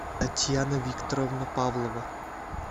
татьяна викторовна павлова